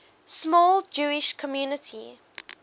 small jewish community